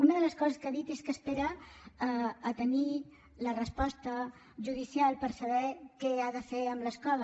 una de les coses que ha dit és que espera tenir la resposta judicial per saber què ha de fer amb l’escola